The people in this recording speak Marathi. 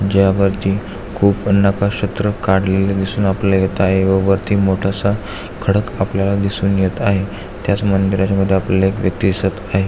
जय वरती खूप नकक्षेत्र काडलेले दिसून आपल्याला येत आहे व वरती मोठासा खडक आपल्याला दिसून येत आहे त्याच मंदिराच्या मधी आपल्याला एक व्यक्ती दिसत आहे.